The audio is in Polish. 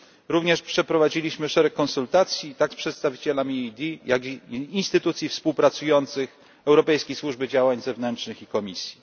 Również przeprowadziliśmy szereg konsultacji, zarówno z przedstawicielami EED, jak i instytucji współpracujących, Europejskiej Służby Działań Zewnętrznych i Komisji.